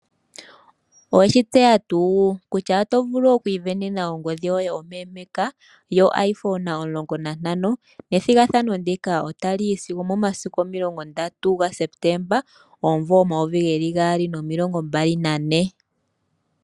Owe shi tseya tuu kutya oto vulu okwiisindanena ongodhi yoye ompeempeeka yo Iphone omulongo nantano? Ethigathano ndika otali yi sigo omomasiku omulongo ndatu gaSepetemba omunvo omayovi gaali nomilongo mbali nane.